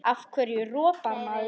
Af hverju ropar maður?